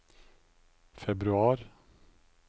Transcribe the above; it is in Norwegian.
februar